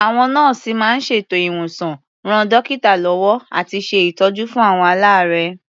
Àwọn nọ́ọ̀sì máa ń ṣètò ìwòsàn, ran dọ́kítà lọ́wọ́ àti ṣe ìtọ́jú fún àwọn aláàárẹ̀.